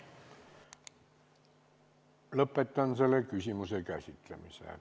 Lõpetan selle küsimuse käsitlemise.